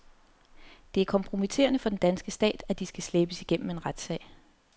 Det er kompromitterende for den danske stat, at de skal slæbes igennem en retssag.